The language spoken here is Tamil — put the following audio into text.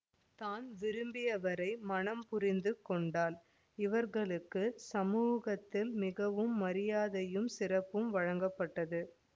தான் விரும்பியவரை மணம் புரிந்து கொண்டாள் இவ்ர்களுக்குச் சமூகத்தில் மிகவும் மரியாதையும் சிறப்பும் வழங்கப்பட்டது